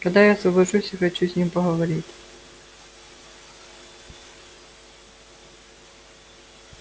когда я освобожусь я хочу с ним поговорить